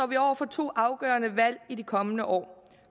vi over for to afgørende valg i de kommende år